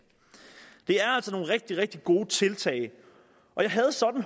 det er altså nogle rigtig rigtig gode tiltag jeg